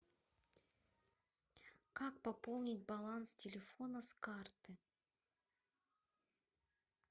как пополнить баланс телефона с карты